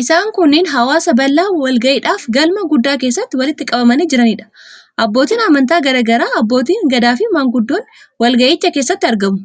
Isaan kunneen hawaasa bal'aa walgahiidhaaf galma guddaa keessatti walitti qabamanii jiraniidha. Abbootiin amantaa garaa garaa, abbootiin gadaafi maanguddoonni walgahicha keessatti argamu.